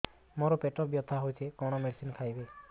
ମୋର ପେଟ ବ୍ୟଥା ହଉଚି କଣ ମେଡିସିନ ଖାଇବି